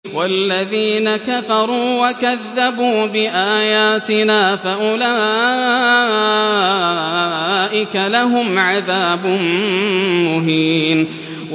وَالَّذِينَ كَفَرُوا وَكَذَّبُوا بِآيَاتِنَا فَأُولَٰئِكَ لَهُمْ عَذَابٌ مُّهِينٌ